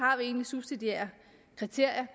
subsidiære kriterier